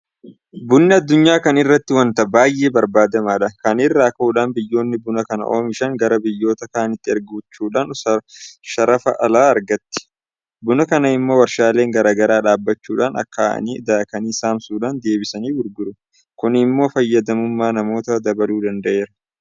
Bunni addunyaa kana irratti waanta baay'ee barbaadamaadha. Kana irraa ka'uudhaan biyyoonni buna kana oomishan gara biyyoota kaaniitti ergachuudhaan sharafa alaa argatti. Buna kana immoo warshaaleen garaa garaa dhaabbachuudhaan akaa'anii daakanii saamsuudhaan deebisanii gurguru. Kun immoo fayyadamummaa namootaa dabaluu danda'eera.